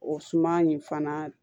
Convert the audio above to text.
O suma in fana